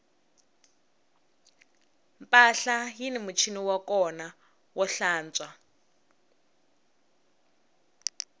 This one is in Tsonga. mpahla yini muchini wa kona wo tlantswa